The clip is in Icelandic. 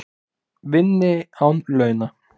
Vinni án launa